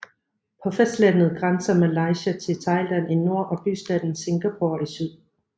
På fastlandet grænser Malaysia til Thailand i nord og bystaten Singapore i syd